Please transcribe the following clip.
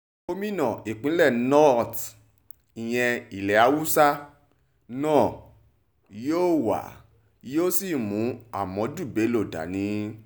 gómìnà ìpínlẹ̀ north ìyẹn ilẹ̀ húáṣà náà yóò wá yóò sì mú ahmadu bello dání